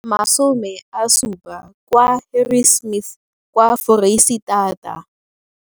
70 kwa Harri smith kwa Foreisetata.